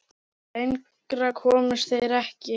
Lengra komust þeir ekki.